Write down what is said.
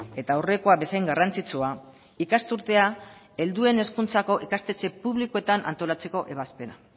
eta aurrekoa bezain garrantzitsua ikasturtea helduen hezkuntzako ikastetxe publikoetan antolatzeko ebazpena